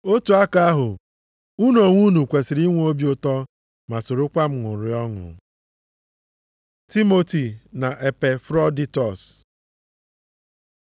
otu aka ahụ, unu onwe unu kwesiri inwe obi ụtọ ma sorokwa m ṅụrịa ọṅụ. Timoti na Epafroditọs